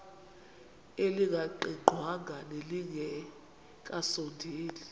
elingaqingqwanga nelinge kasondeli